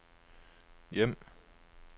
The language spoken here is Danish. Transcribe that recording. hjem